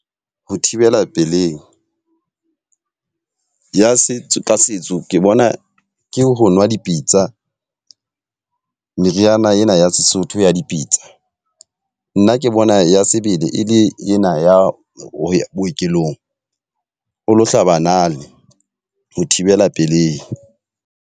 Ho thibela pelehi, ya setso ka setso ke bona ke ho nwa dipitsa meriana ena ya Sesotho ya dipitsa. Nna ke bona ya sebele e le ena ya bookelong, o lo hlaba nale ho thibela pelehi.